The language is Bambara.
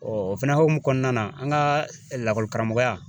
Ɔ ofɛnɛ hokumu kɔnɔna na an ka lakɔli karamɔgɔya